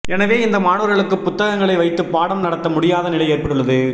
எனவே இந்த மாணவர்களுக்கு புத்தகங்களை வைத்துப் பாடம் நடத்த முடியாத நிலை ஏற்பட்டுள்ளது